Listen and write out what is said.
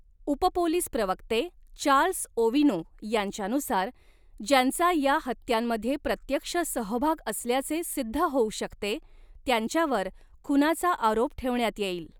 उपपोलीस प्रवक्ते Charles Owino यांच्यानुसार, ज्यांचा या हत्यांमध्ये प्रत्यक्ष सहभाग असल्याचे सिद्ध होऊ शकते, त्यांच्यावर खुनाचा आरोप ठेवण्यात येईल.